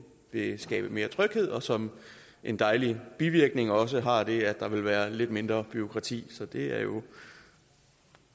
vil skabe mere tryghed og som en dejlig bivirkning også har det at der vil være lidt mindre bureaukrati så det er jo